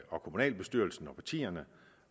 og kommunalbestyrelserne og partierne